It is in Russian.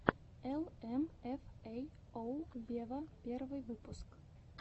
эл эм эф эй оу вево первый выпуск